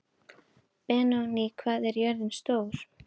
Benóný, hvað er jörðin stór?